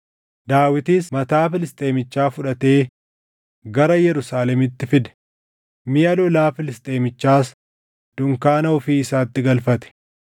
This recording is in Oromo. Daawitis mataa Filisxeemichaa fudhatee gara Yerusaalemitti fide; miʼa lolaa Filisxeemichaas dunkaana ofii isaatti galfate.